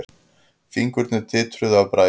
Fingurnir titruðu af bræði.